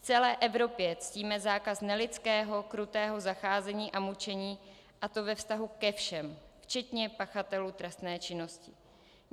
V celé Evropě ctíme zákaz nelidského, krutého zacházení a mučení, a to ve vztahu ke všem, včetně pachatelů trestné činnosti.